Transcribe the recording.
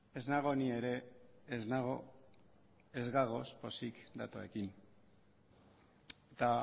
ez nago ni ere ez gaude pozik datoekin eta